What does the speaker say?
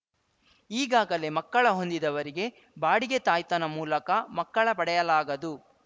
ಈಗಾಗಲೇ ಮಕ್ಕಳ ಹೊಂದಿದವರಿಗೆ ಬಾಡಿಗೆ ತಾಯ್ತನ ಮೂಲಕ ಮಕ್ಕಳ ಪಡೆಯಲಾಗದು